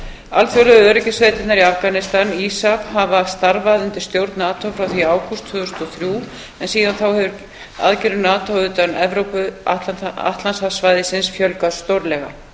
alþjóðlegu öryggissveitirnar í afganistan isaf hafa starfað undir stjórn nato frá því í ágúst tvö þúsund og þrjú en síðan þá hefur aðgerðum nato utan evró atlantshafssvæðisins fjölgað stórlega